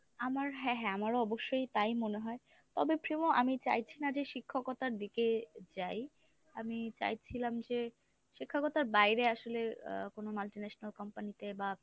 আমার হ্যাঁ হ্যাঁ আমার অবশ্যই তাই মনে হয়, তবে প্রেমো আমি চাইছি না যে শিক্ষকতার দিকে যাই। আমি চাইছিলাম যে শিক্ষকতার বাইরে আসলে আ কোনো multinational company তে বা